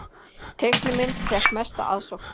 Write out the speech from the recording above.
Teiknimynd fékk mesta aðsókn